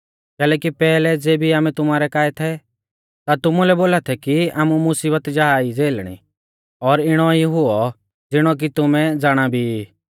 कैलैकि पैहलै ज़ेबी आमै तुमारै काऐ थै ता तुमुलै बोला थै कि आमु मुसीबत जा ई झ़ेलणी और इणौ ई हुऔ ज़िणौ कि तुमै ज़ाणा भी ई